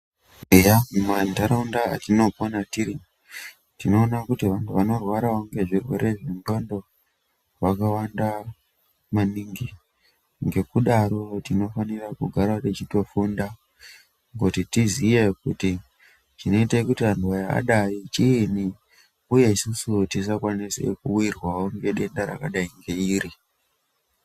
Eya mumantaraunda atinopona tiri ,tinoona kuti vantu vanorwarawo ngezvirwere zvendxondo vakawanda maningi. Ngekudaro tinofanira kugarawo tichitofunda, kuti tiziye kuti chinoite kuti anu aya adai chiini, uye isisu tisakwanise kuwirwawo ngedenda rakadai ngeiri..